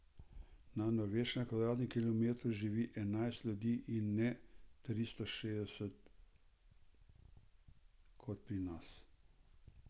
Na Norveškem na kvadratnem kilometru živi enajst ljudi in ne tristo šestdeset kot pri nas.